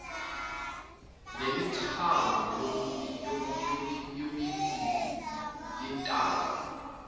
nemithambo yomibili yentamo